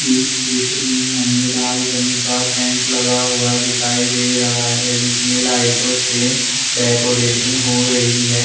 इस चित्र में हमें लाल रंग का टेंट लगा हुआ दिखाई दे रहा है जिसमें लाइटों से डेकोरेशन हो रही है।